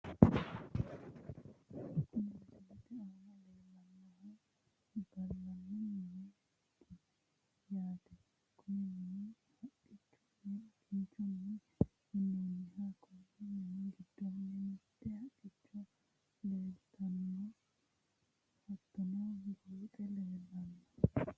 Kuni misilete aana leellannohu gallanni mineeti yaate, kuni mini haqqunninna kinchunni minnoonniho, konni mini giddoonni mitte haqqicho leeltanno, hattono huxxu leellanno.